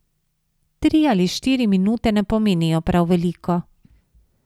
Tri ali štiri minute ne pomenijo prav veliko.